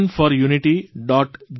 gov